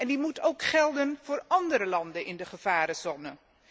En die moet ook gelden voor andere landen in de gevarenzone.